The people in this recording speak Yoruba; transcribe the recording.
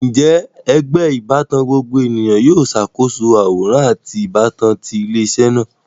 Njẹ ẹgbẹ ibatan gbogbo eniyan yoo ṣakoso aworan ati ibatan ti ile-iṣẹ naa?